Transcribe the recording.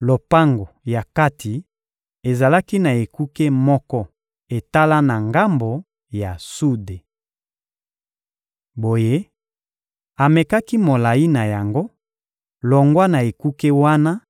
Lopango ya kati ezalaki na ekuke moko etala na ngambo ya sude. Boye, amekaki molayi na yango, longwa na ekuke wana